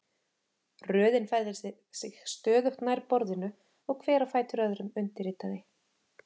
Röðin færði sig stöðugt nær borðinu og hver á fætur öðrum undirritaði.